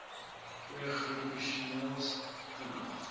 goeie groeipotensiaal vinnig